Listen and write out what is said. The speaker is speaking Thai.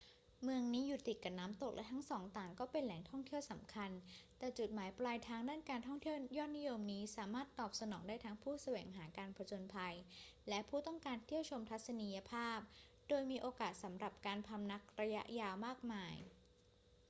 เมืองนี้อยู่ติดกับน้ำตก และทั้งสองต่างก็เป็นแหล่งท่องเที่ยวสำคัญ แต่จุดหมายปลายทางด้านการท่องเที่ยวยอดนิยมนี้สามารถตอบสนองได้ทั้งผู้แสวงหาการผจญภัยและผู้ต้องการเที่ยวชมทัศนียภาพ โดยมีโอกาสสำหรับการพำนักระยะยาวมากมาย